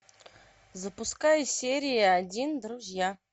запускай серия один друзья